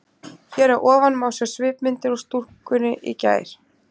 Hér að ofan má sjá svipmyndir úr stúkunni í gær.